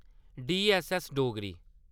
DSS Dogri